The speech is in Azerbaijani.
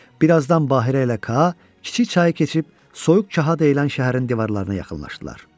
Bir azdan Bahirə ilə Ka kiçik çayı keçib, Soyuq kaha deyilən şəhərin divarlarına yaxınlaşdılar.